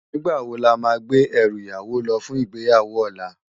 Nigbá wó lámá gbé èrú iyàwó lò fún igbéyáwó òlá?